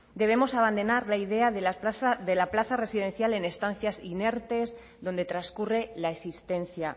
debemos abandonar la idea de la plaza residencial en estancias inertes donde transcurre la existencia